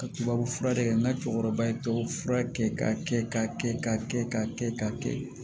Ka tubabufura de kɛ n ka cɛkɔrɔba ye tubabu fura kɛ ka kɛ ka kɛ ka kɛ ka kɛ ka kɛ